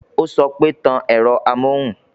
Ó sọ pé "Tan ẹ̀rọ amóhùn"